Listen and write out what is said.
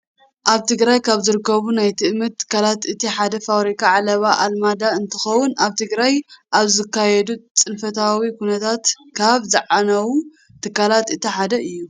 ኣብ ትግራይ ካብ ዝርከቡ ናይ ትእምት ትካላት እቲ ሓደ ፋብሪካ ዓለባ ኣልመዳ እንትኸውን ኣብ ትግራይ ኣብ ዝተኻየደ ፅንፈታዊ ኩናት ካብ ዝዓነዉ ትካላት እቲ ሓደ እዩ።